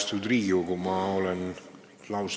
Austatud Riigikogu!